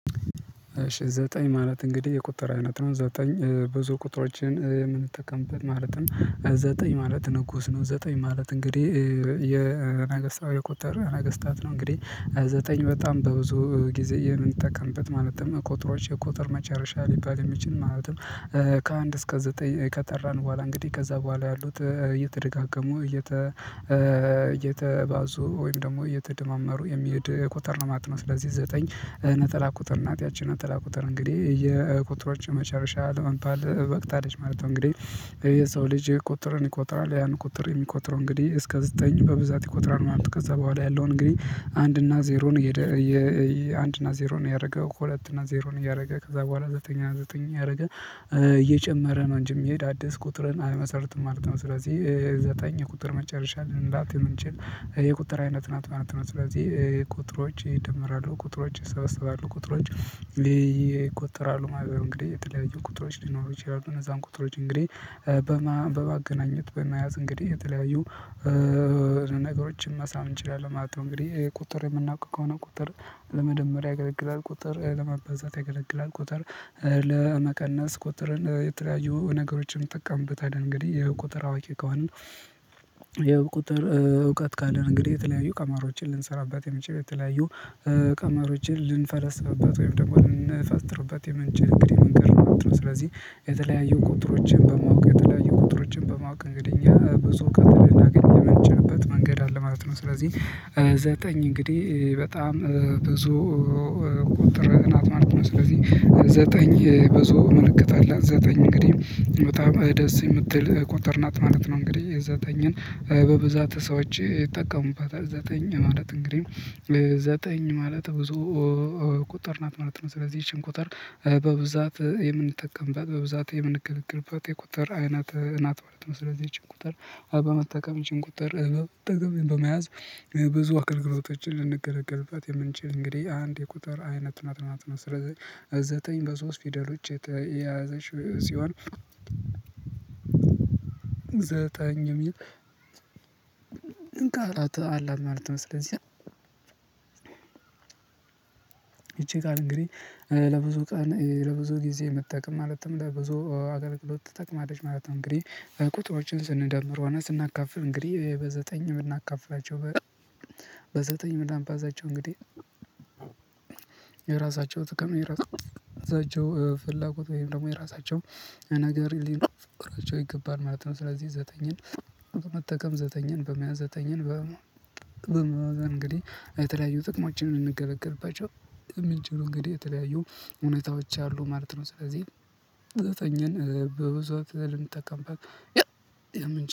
ዘጠኝ ማለት እንግዲህ የቁጥር አይነት ነው። ዘጠኝ ብዙ ቁጥሮችን የምንጠቀምበት ማለት ነው። ዘጠኝ ማለት ንጉስ ነው። ዘጠኝ ማለት እንግዲህ የነገስታዊ ቁጥር ነገስታት ነው። እንግዲህ ዘጠኝ በጣም በብዙ ጊዜ የምንጠቀምበት ማለትም ቁጥሮች የቁጥር መጨረሻ ሊባል የሚችል ማለትም። ከአንድ እስከ ዘጠኝ ከጠራን በኋላ እንግዲህ ከዛ በኋላ ያሉት እየተደጋገሙ እየተባዙ ወይም ደግሞ የተደማመሩ የሚሄድ ቁጥር ለማጥናት ስለዚህ ዘጠኝ ነጠላ ቁጥር እናት ያቺን ነጠላ ቁጥር እንግዲህ የቁጥሮች መጨረሻ ለመንፈል በቅታለች ማለት ነው። እንግዲህ የሰው ልጅ ቁጥርን ይቆጥራል ያን ቁጥር የሚቆጥረው እንግዲህ እስከ ዘጠኝ በብዛት ይቆጥራል። ማለት ከዛ በኋላ ያለው እንግዲህ አንድ እና ዜሮን እየደ አንድ እና ዜሮን ያደረገው ሁለት እና ዜሮን እያደረገ ከዛ በኋላ ዘጠኝ ዘጠኝ ያደረገ እየጨመረ ነው እንጂ የሚሄድ አዲስ ቁጥርን አልመሰርትም ማለት ነው። ስለዚህ ዘጠኝ የቁጥር መጨረሻ ልንላት እንጂ የቁጥር አይነት ናት ማለት ነው። ስለዚህ ቁጥሮች ይደምራሉ ቁጥሮች ይሰበሰባሉ ቁጥሮች ይቆጠራሉ ማለት ነው። እንግዲህ የተለያዩ ቁጥሮች ሊኖሩ ይችላሉ። እነዛን ቁጥሮች እንግዲህ በማገናኘት በመያዝ እንግዲህ የተለያዩ ነገሮችን ማሳም እንችላለን ማለት ነው። እንግዲህ ቁጥር የምናውቀው ከሆነ ቁጥር ለመደመር ያገለግላል። ቁጥር ለማበዛት ያገለግላል ቁጥር ለመቀነስ ቁጥርን የተለያዩ ነገሮችን እንጠቀምበት አለ እንግዲህ የቁጥር አዋቂ ከሆነ። የቁጥር እውቀት ካለ እንግዲህ የተለያዩ ቀማሮችን ልንሰራበት የምንጭ ቤት የተለያዩ ቀማሮችን ልንፈልግበት ወይም ደግሞ ልንፈስጥርበት የምንጭ እንግዲህ መንገድ ነው። ስለዚህ የተለያዩ ቁጥሮችን በማወቅ የተለያዩ ቁጥሮችን በማወቅ እንግዲህ ብዙ ከትር እናገኘህ የመቸነበት መንገድ አለ ማለት ነው። ስለዚህ ዘጠኝ እንግዲህ በጣም ብዙ ቁጥር ናት ማለት ነው። ስለዚህ ዘጠኝ ብዙ ምልክት አላት። ዘጠኝ እንግዲህ በጣም ደስ የምትል ቁጥር ናት ማለት ነው። እንግዲህ የዘጠኝን በብዛት ሰዎች ይጠቀሙባታል ዘጠኝ ማለት እንግዲህ ዘጠኝ ማለት ብዙ ቁጠር ናት ማለት ነው። ስለዚህ ይቺን ቁጠር በብዛት የምንጠቀምበት በብዛት የምንገልግልበት የቁጥር አይናት እናት ማለት ነው። ስለዚህ ይቺን በመጠቀም ይቺን ቁጥር በመያዝ ብዙ አገልግሎቶችን ልንገለግልባት የምንችል እንግዲህ አንድ የቁጥር አይነት ናት ማለት ነው። ስለዚህ ዘጠኝ በሶስት ፊደል ውጪ የያዘችው ሲሆን ዘጠኝ የሚል ቃላት አለ ማለት ነው። ስለዚህ ይቺ ቃል እንግዲህ ለብዙ ቀን ለብዙ ጊዜ የምትጠቅም ማለትም ለብዙ አገልግሎት ትጠቅማለች ማለት ነው። እንግዲህ ቁጥሮችን ስንደምር ሆነ ስናካፍል እንግዲህ በዘጠኝ የምናካፍላቸው በዘጠኝ ምናምን ባዛቸው እንግዲህ የራሳቸው ትክክል የራሳቸው ፍላጎት ወይም ደግሞ የራሳቸው ነገር ይገባል ማለት ነው። ስለዚህ ዘጠኝን በመጠቀም ዘተኛን በመያዝ ዘተኛን በ እንግዲህ የተለያዩ ጥቅሞችን እንገለገልባቸው የሚችሉ እንግዲህ የተለያዩ እውነታዎች አሉ ማለት ነው። ስለዚህ ዘጠኝን በብዙ ልንጠቀምበት የምንችልበት